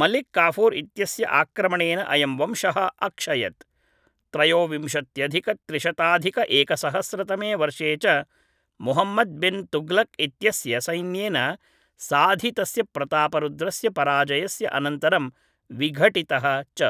मलिक् काफ़ूर् इत्यस्य आक्रमणेन अयं वंशः अक्षयत् त्रयोविंशत्यधिकत्रिशताधिकएकसहस्रतमे वर्षे च मुहम्मद्‌ बिन् तुग्लुक् इत्यस्य सैन्येन साधितस्य प्रतापरुद्रस्य पराजयस्य अनन्तरं विघटितः च